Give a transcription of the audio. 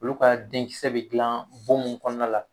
Olu ka denkisɛ be gilan bon mun kɔnɔna la